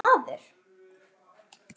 Hann var vitur maður.